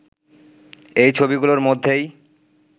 এই ছবিগুলোর মধ্যেই